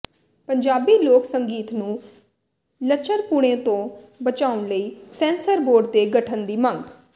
ਪੰਜਾਬੀ ਲੋਕ ਸੰਗੀਤ ਨੂੰ ਲੱਚਰਪੁਣੇ ਤੋਂ ਬਚਾਉਣ ਲਈ ਸੈਂਸਰ ਬੋਰਡ ਦੇ ਗਠਨ ਦੀ ਮੰਗ